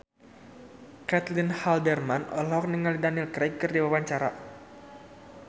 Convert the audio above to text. Caitlin Halderman olohok ningali Daniel Craig keur diwawancara